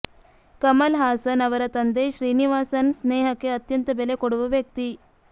ಕಮಲ್ ಹಾಸನ್ ಅವರ ತಂದೆ ಶ್ರೀನಿವಾಸನ್ ಸ್ನೇಹಕ್ಕೆ ಅತ್ಯಂತ ಬೆಲೆ ಕೊಡುವ ವ್ಯಕ್ತಿ